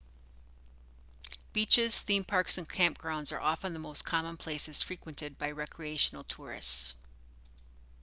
beaches theme parks and camp grounds are often the most common places frequented by recreational tourists